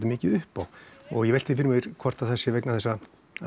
mikið upp á og ég velti því fyrir mér hvort það sé vegna þess að